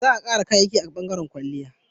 Za a kara kayayyaki a bangaren kwalliya